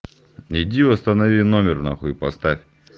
иди восстанови номер нахуй и поставь